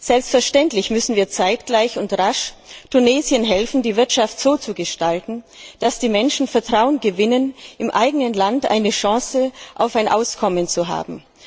Selbstverständlich müssen wir zeitgleich und rasch Tunesien helfen, seine Wirtschaft so zu gestalten, dass die Menschen Vertrauen gewinnen, im eigenen Land eine Chance auf ein Auskommen zu haben.